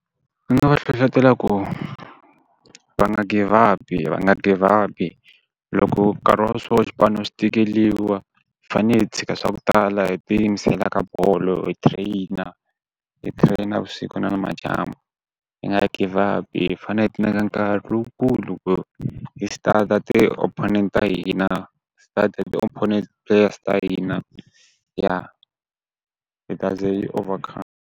Ni nga va hlohletela ku, va nga give up-i va nga give up-i. Loko nkarhi wa so xipano xi tikeriwa, hi fanele hi tshika swa ku tala hi tiyimisela ka bolo hi trainer. Hi train-a vusiku na nimadyambu, hi nga give up-i hi fanele hi ti nyika nkarhi lowukulu ku hi stada ti opponent ta hina, study the opponent players ta hina. Ya, hi ta ze hi yi overcome-a.